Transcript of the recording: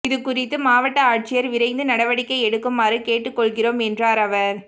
இதுகுறித்து மாவட்ட ஆட்சியா் விரைந்து நடவடிக்கை எடுக்குமாறு கேட்டுக்கொள்கிறோம் என்றாா் அவா்